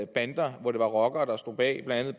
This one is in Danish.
bander eller rockere der stod bag blandt